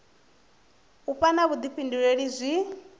u vha na vhuḓifhinduleli zwi